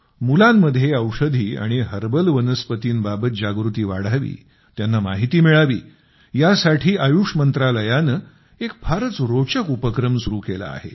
मुलांमध्ये औषधी आणि हर्बल वनस्पतींबाबत जागृती वाढावी त्यांना माहिती मिळावी यासाठी आयुष मंत्रालयाने एक फारच रोचक उपक्रम सुरु केला आहे